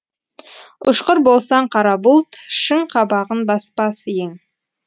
ұщқыр болсаң қара бұлт шың қабағын баспас ең